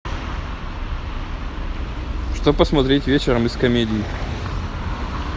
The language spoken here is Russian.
что посмотреть вечером из комедий